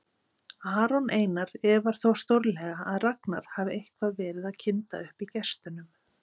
Aron Einar efar þó stórlega að Ragnar hafi eitthvað verið að kynda upp í gestunum.